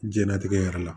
Jɛnlatigɛ yɛrɛ la